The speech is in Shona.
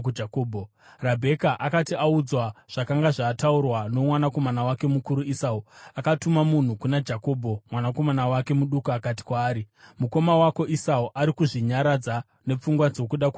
Rabheka akati audzwa zvakanga zvataurwa nomwanakomana wake mukuru Esau, akatuma munhu kuna Jakobho mwanakomana wake muduku akati kwaari, “Mukoma wako Esau ari kuzvinyaradza nepfungwa dzokuda kukuuraya.